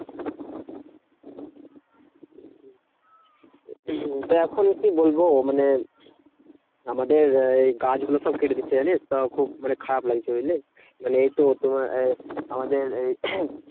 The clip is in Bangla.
তো এখন কি বলবো? মানে আমাদের আহ এই গাছ গুলো সব কেটে দিচ্ছে জানিস? তো মানে খুব মানে খারাপ লাগছে বুঝলি? মানে এই তো তোমার আহ আমাদের এই